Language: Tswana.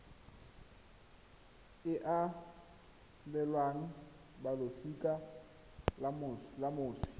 e abelwang balosika la moswi